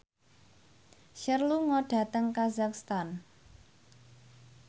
Cher lunga dhateng kazakhstan